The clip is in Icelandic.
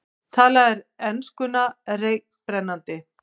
Talaði enskuna reiprennandi.